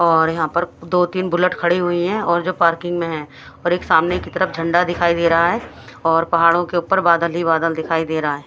और यहां पर दो तीन बुलेट खड़ी हुई हैं और जो पार्किंग में हैं और एक सामने की तरफ झंडा दिखाई दे रहा है और पहाड़ों के ऊपर बादल ही बादल दिखाई दे रहा है।